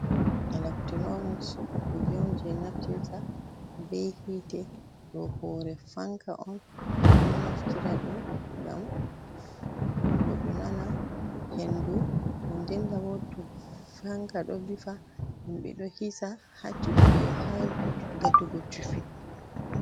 Electronics ďum kuje on je naftirta be hiite, ďo hore fanka on, min naftirta đum ngam goddo nana hendu, nden-nden tabo to fanka do vifa himbe do hisa ha ngatugo chufi.